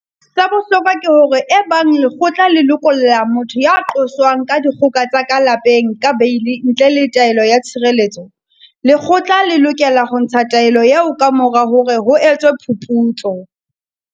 Sa bohlokwa ke hore ebang lekgotla le lokolla motho ya qoswang ka dikgoka tsa ka lapeng ka beili ntle le taelo ya tshireletso, lekgotla le lokela ho ntsha taelo eo kamora hore ho etswe phuputso.